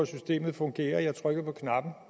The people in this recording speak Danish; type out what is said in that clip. systemet fungerer igen